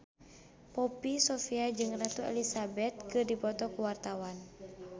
Poppy Sovia jeung Ratu Elizabeth keur dipoto ku wartawan